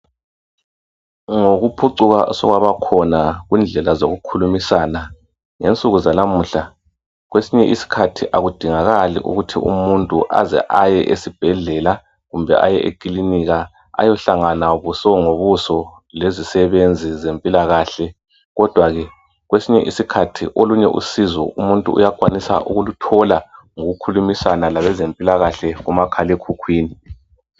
Ngokuphucuka osokwaba khona kundlela zokukhulumisana ngensuku zanamuhla kwesinye isikhathi akudingakali ukuthi umuntu aze aye esibhedlela kumbe aye ekilinika ayehlanhana buso ngobuso lezisebenzi zempilakahle kodwa ke kwesinye isikhathi olunye usizo umuntu uyakwanisa ukulithola ngokukhulumisana labezempilakahle kuma khalekhukhwini.